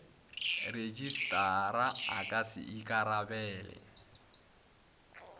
rejistrara a ka se ikarabele